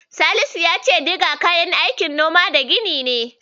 Salisu ya ce Diga kayan aikin Noma da Gini ce.